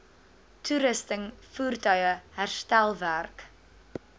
toerusting voertuie herstelwerk